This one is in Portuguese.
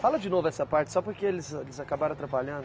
Fala de novo essa parte, só porque eles eles acabaram atrapalhando.